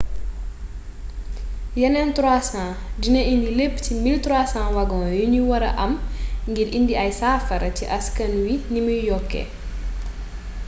yeneen 300 dina indi lépp ci 1300 wagon yuñu wara am ngir indi ay saafara ci askan wi nimuy yokkee